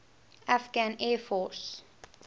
afghan air force